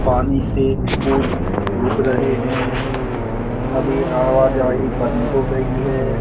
पानी से खुद रहे है । अभी आवा जाहि बंद हो गई है ।